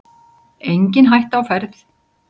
Engin hætta á ferð